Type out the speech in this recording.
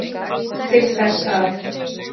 Til þess að